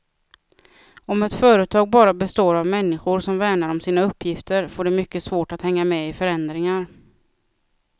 Om ett företag bara består av människor som värnar om sina uppgifter, får det mycket svårt att hänga med i förändringar.